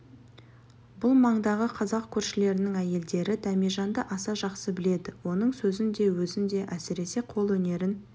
бұл маңдағы қазақ көршілерінің әйелдері дәмежанды аса жақсы біледі оның сөзін де өзін де әсіресе қолөнерін